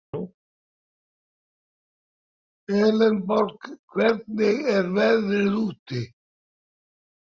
Elenborg, hvernig er veðrið úti?